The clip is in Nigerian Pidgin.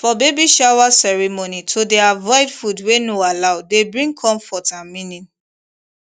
for baby shower ceremony to dey avoid food wey no allow dey bring comfort and meaning